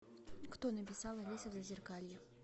кто написал алиса в зазеркалье